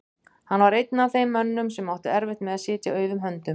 Hann var einn af þeim mönnum sem áttu erfitt með að sitja auðum höndum.